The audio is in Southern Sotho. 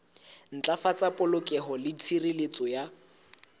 ntlafatsa polokeho le tshireletso ya